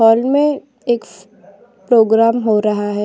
Hall मैं एक programme हो रहा है।